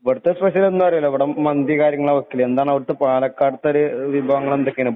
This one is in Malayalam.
ഇവിടത്തെ സ്പെഷ്യൽ എന്താന്നറിയാലോ ഇവിടെ മന്തി കാര്യങ്ങളൊക്കെയാണ് വെക്കല്. എന്താണ് അവിടുത്തെ പാലക്കാട ത്തെ വിഭവങ്ങൾ എന്തൊക്കെയാണ്?